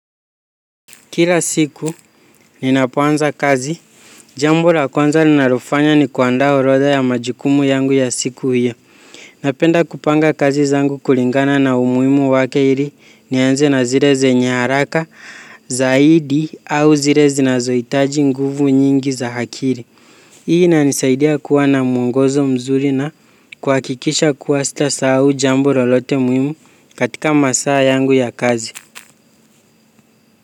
Kila siku ninapoanza kazi, jambo la kwanza ninalofanya ni kuandaa orodha ya majukumu yangu ya siku hio. Napenda kupanga kazi zangu kulingana na umuhimu wake ili nianze na zile zenye haraka zaidi au zile zinazohitaji nguvu nyingi za akili. Hii inanisaidia kuwa na mwongozo mzuri na kuhakikisha kuwa sitasahau jambo lolote muhimu katika masaa yangu ya kazi.